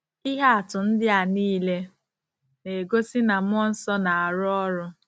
Ihe atụ ndị a niile na-egosi na mmụọ nsọ na-arụ ọrụ.